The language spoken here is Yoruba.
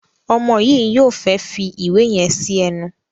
Omo yi yóò fè fí ìwé yen sí ẹnu.